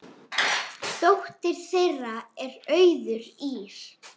Dóttir þeirra er Auður Ýrr.